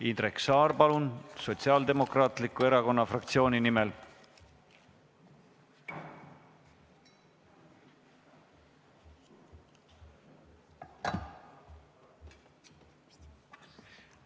Indrek Saar Sotsiaaldemokraatliku Erakonna fraktsiooni nimel, palun!